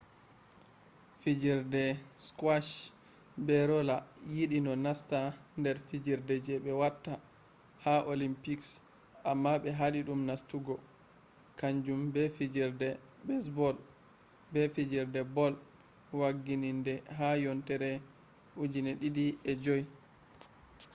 fijerde skwash be rola yiɗi no nasta nder fijerde je ɓe watta ha olimpiks amma ɓe haɗi dum nastugo. kanju be fijerde besbol be fijerde bol waggiɗinde ha yontere 2005